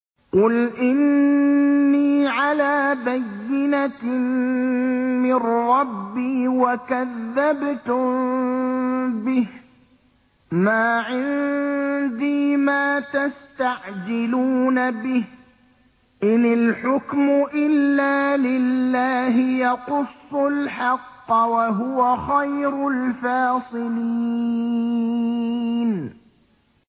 قُلْ إِنِّي عَلَىٰ بَيِّنَةٍ مِّن رَّبِّي وَكَذَّبْتُم بِهِ ۚ مَا عِندِي مَا تَسْتَعْجِلُونَ بِهِ ۚ إِنِ الْحُكْمُ إِلَّا لِلَّهِ ۖ يَقُصُّ الْحَقَّ ۖ وَهُوَ خَيْرُ الْفَاصِلِينَ